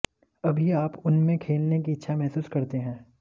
अभी आप उनमें खेलने की इच्छा महसूस करते हैं